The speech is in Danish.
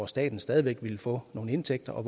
staten stadig væk vil få nogle indtægter og